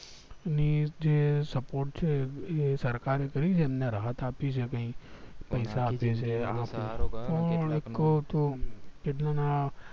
ની જે support છે એ સરકાર એ કરી છે રાહત આપી છે કઈ પૈસા આપે છે પણ એક તો